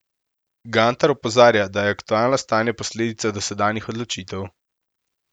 Gantar opozarja, da je aktualno stanje posledica dosedanjih odločitev.